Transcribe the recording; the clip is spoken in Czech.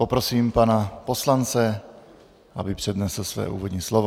Poprosím pana poslance, aby přednesl své úvodní slovo.